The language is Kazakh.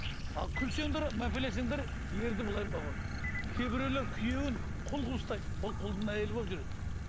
ал күлсеңдер мәпелесеңдер ерді кейбіреулер күйеуін құл қылып ұстайды ол құлдың әйелі болып жүреді